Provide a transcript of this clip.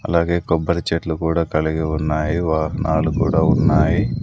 అలాగే కొబ్బరి చెట్లు కూడా కలిగి ఉన్నాయి వాహనాలు కూడా ఉన్నాయి.